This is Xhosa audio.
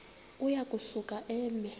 uya kusuka eme